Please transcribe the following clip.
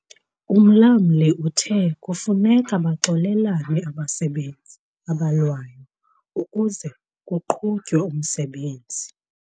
Umlamli uthe kufuneka baxolelane abasebenzi abalwayo ukuze kuqhutywe umsebenzi.